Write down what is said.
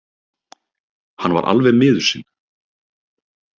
Hann var alveg miður sín.